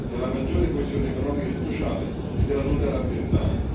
della maggiore coesione economica e sociale e della tutela ambientale.